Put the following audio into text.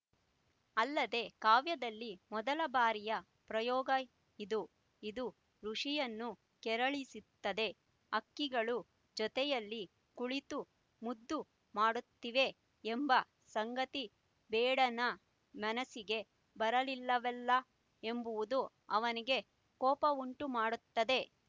ಅಲ್ಲದೆ ಕಾವ್ಯದಲ್ಲಿ ಮೊದಲ ಬಾರಿಯ ಪ್ರಯೋಗ ಇದು ಇದು ಋಷಿಯನ್ನು ಕೆರಳಿಸ್ತುದೆ ಹಕ್ಕಿಗಳು ಜೊತೆಯಲ್ಲಿ ಕುಳಿತು ಮುದ್ದು ಮಾಡುತ್ತಿವೆ ಎಂಬ ಸಂಗತಿ ಬೇಡನ ಮನಸ್ಸಿಗೆ ಬರಲಿಲ್ಲವಲ್ಲ ಎಂಬುವುದು ಅವನಿಗೆ ಕೋಪವುಂಟುಮಾಡುತ್ತದೆ